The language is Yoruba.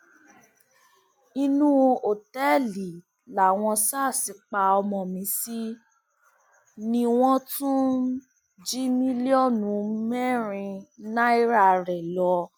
inú òtẹẹlì làwọn sars pa ọmọ mi sí nìwòo wọn tún jí mílíọnù mẹrin náírà rẹ lọ